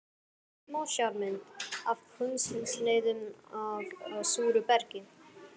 Smásjármynd af þunnsneiðum af súru bergi.